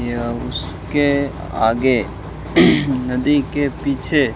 या उसके आगे नदी के पीछे--